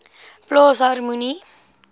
plaas harmonie